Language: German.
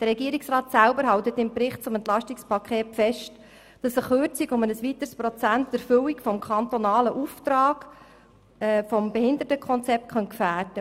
Der Regierungsrat hält im Bericht zum EP fest, dass eine Kürzung um ein weiteres Prozent die Erfüllung des kantonalen Auftrags des Behindertenkonzepts gefährden könnte.